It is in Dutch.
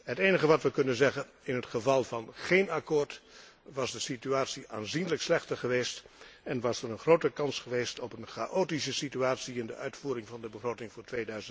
Het enige wat we kunnen zeggen in het geval van geen akkoord, was de situatie aanzienlijk slechter geweest en was er een grote kans geweest op een chaotische situatie bij de uitvoering van de begroting voor